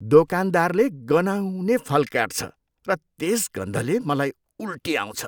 दोकानदारले गनाउने फल काट्छ र त्यस गन्धले मलाई उल्टी आउँछ।